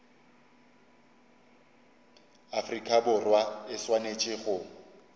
afrika borwa e swanetše go